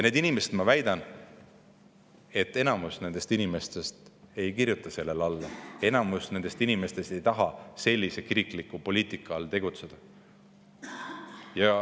Ja ma väidan, et enamik nendest inimestest ei kirjuta sellele alla, enamik nendest inimestest ei taha sellise kirikliku poliitika all tegutseda.